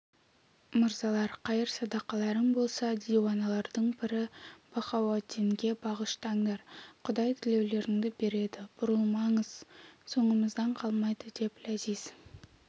мырзалар қайыр-садақаларың болса диуаналардың пірі бахауаддинге бағыштаңдар құдай тілеулеріңді береді бұрылмаңыз соңымыздан қалмайды деп ләзиз